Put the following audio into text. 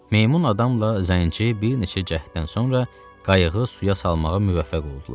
Meymun adamla zənci bir neçə cəhddən sonra qayığı suya salmağa müvəffəq oldular.